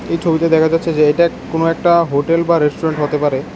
এই ছবিতো দেখা যাচ্ছে যে এটা কোন একটা হোটেল বা রেস্টুরেন্ট হতে পারে।